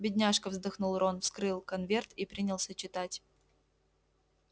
бедняжка вздохнул рон вскрыл конверт и принялся читать